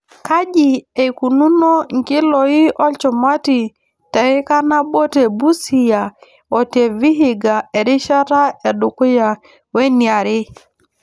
Kaji eikununo nkiloi olchumati teika nabo te Busia o te Vihiga erishata e dukuya we niare.